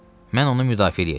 Mən onu müdafiə eləyəcəm.